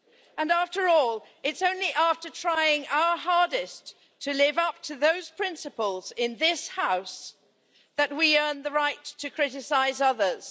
And after all, it's only after trying our hardest to live up to those principles in this House that we earn the right to criticise others.